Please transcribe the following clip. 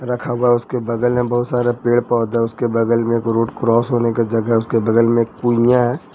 रखा हुआ उसके बगल में बहुत सारे पेड़ पौधा है उसके बगल में एक रोड क्रॉस होने का जगह उसके बगल में एक पूनिया है।